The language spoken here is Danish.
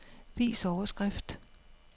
Vis overskrift.